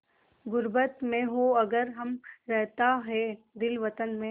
ग़ुर्बत में हों अगर हम रहता है दिल वतन में